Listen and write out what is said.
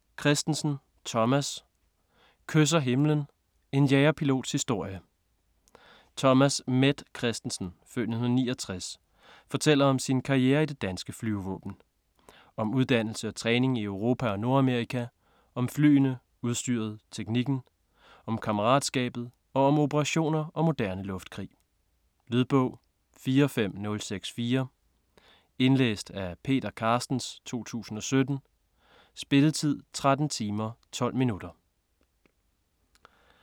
Kristensen, Thomas: Kysser himlen: en jagerpilots historie Thomas "Met" Kristensen (f. 1969) fortæller om sin karriere i det danske flyvevåben. Om uddannelse og træning i Europa og Nordamerika, om flyene, udstyret, teknikken. Om kammeratskab, og om operationer og moderne luftkrig. Lydbog 45064 Indlæst af Peter Carstens, 2017. Spilletid: 13 timer, 12 minutter.